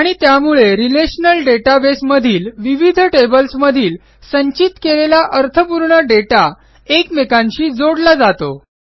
आणि त्यामुळे relational database मधील विविध टेबल्समधील संचित केलेला अर्थपूर्ण दाता एकमेकांशी जोडला जातो